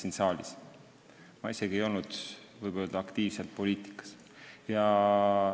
Võib öelda, et ma isegi ei olnud aktiivselt poliitikas.